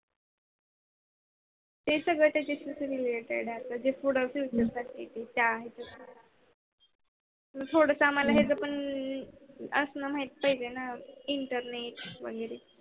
ते सगळ त्याच्याशी related आहे. म्हणजे थोड प्रिपे साठी त्या थोडस याच आम्हाला असं माहीत पाहिजे त्या internet वेगेरे